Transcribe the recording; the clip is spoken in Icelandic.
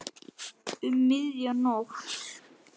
Um miðja nótt?